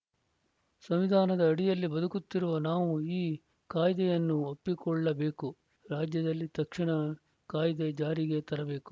ಸಂವಿಧಾನದ ಅಡಿಯಲ್ಲಿ ಬದುಕುತ್ತಿರುವ ನಾವು ಈ ಕಾಯ್ದೆಯನ್ನು ಒಪ್ಪಿಕೊಳ್ಳಬೇಕು ರಾಜ್ಯದಲ್ಲಿ ತಕ್ಷಣ ಕಾಯ್ದೆ ಜಾರಿಗೆ ತರಬೇಕು